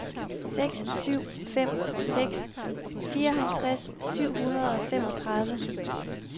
seks syv fem seks fireoghalvtreds syv hundrede og femogtredive